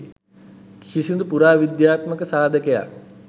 කිසිදු පුරා විද්‍යාත්මක සාධකයක්